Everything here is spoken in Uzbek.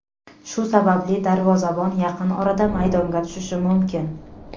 Shu sababli darvozabon yaqin orada maydonga tushishi mumkin.